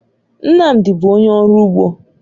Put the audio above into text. Nnamdi bụ onye ọrụ ugbo